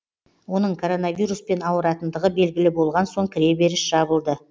оның коронавируспен ауыратындығы белгілі болған соң кіреберіс жабылды